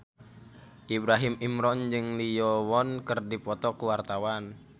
Ibrahim Imran jeung Lee Yo Won keur dipoto ku wartawan